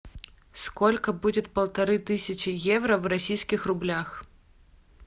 сколько будет полторы тысячи евро в российских рублях